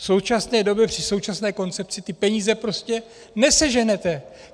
V současné době při současné koncepci ty peníze prostě neseženete.